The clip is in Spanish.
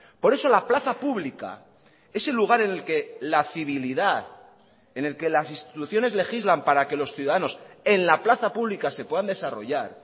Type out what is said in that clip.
por eso la plaza pública ese el lugar en el que la civilidad en el que las instituciones legislan para que los ciudadanos en la plaza pública se puedan desarrollar